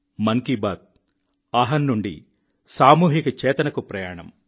మన్ కీ బాత్ అహం నుండి సామూహిక చేతనకు ప్రయాణం